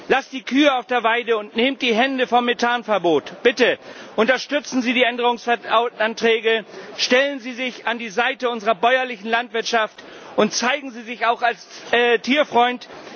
Lasst die Kühe auf der Weide und nehmt die Hände vom Methanverbot! Bitte unterstützen Sie die Änderungsanträge, stellen Sie sich an die Seite unserer bäuerlichen Landwirtschaft und zeigen Sie sich auch als Tierfreund!